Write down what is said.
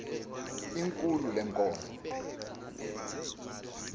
ikhulu lee nkomo